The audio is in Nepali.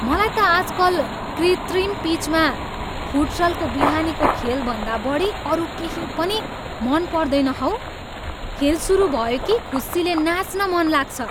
मलाई त आजकल कृत्रिम पिचमा फुटसलको बिहानीको खेलभन्दा बढी अरू केही पनि मनपर्दैन हौ। खेल सुरु भयो कि खुसीले नाँच्न मनलाग्छ!